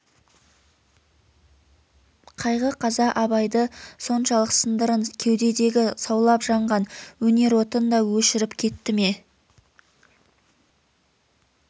қайғы қаза абайды соншалық сындырын кеудедегі саулап жанған өнер отын да өшіріп кетті ме